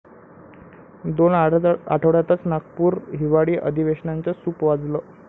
दोन आठवड्यातच नागपूर हिवाळी अधिवेशनाचं सूप वाजलं!